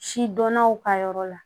Sidɔnnaw ka yɔrɔ la